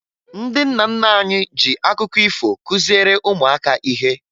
Ndị nna nna anyị ji akụkọ ifo kụziere ụmụaka ihe